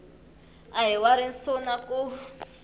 a hi wa risuna ku